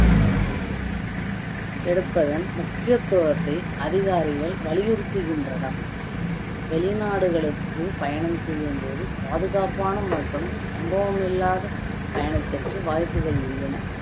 எடுப்பதன் முக்கியத்துவத்தை அதிகாரிகள் வலியுறுத்துகின்றனர் வெளிநாடுகளுக்கு பயணம் செய்யும் போது பாதுகாப்பான மற்றும் சம்பவம் இல்லாத பயணத்திற்கு வாய்ப்புகள் உள்ளன